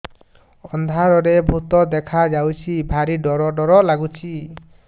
ଅନ୍ଧାରରେ ଭୂତ ଦେଖା ଯାଉଛି ଭାରି ଡର ଡର ଲଗୁଛି